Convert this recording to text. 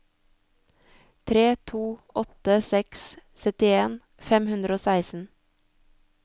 tre to åtte seks syttien fem hundre og seksten